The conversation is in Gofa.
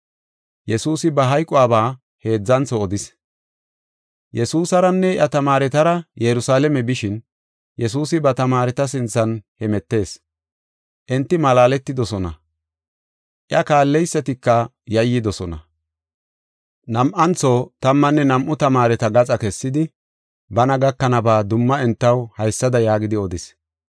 Yesuusaranne iya tamaaretara Yerusalaame bishin, Yesuusi ba tamaareta sinthan hemetees. Enti malaaletidosona. Iya kaalleysatika yayyidosona. Nam7antho, tammanne nam7u tamaareta gaxa kessidi, bana gakanaba dumma entaw haysada yaagidi odis.